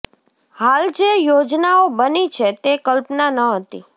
હાલ જે યોજનાઓ બની છે તે કલ્પના ન હતી